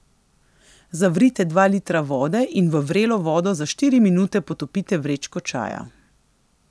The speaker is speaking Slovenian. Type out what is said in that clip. Zavrite dva litra vode in v vrelo vodo za štiri minute potopite vrečke čaja.